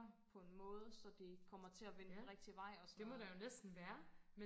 på en måde så det kommer til at vende den rigtige vej og sådan noget